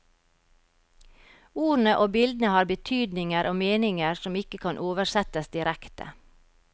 Ordene og bildene har betydninger og meninger som ikke kan oversettes direkte.